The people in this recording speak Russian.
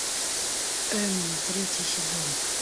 эмма третий сезон